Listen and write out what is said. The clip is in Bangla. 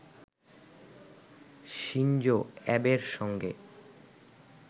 শিনজো অ্যাবের সঙ্গে